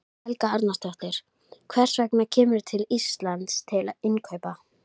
Helga Arnardóttir: Hvers vegna kemurðu til Íslands til innkaupa?